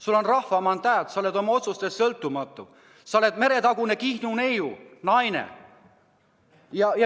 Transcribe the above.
Sul on rahva mandaat, sa oled oma otsustes sõltumatu, sa oled meretagune Kihnu naine.